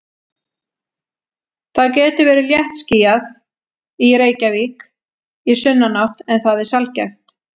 Það getur verið léttskýjað í Reykjavík í sunnanátt en það er sjaldgæft.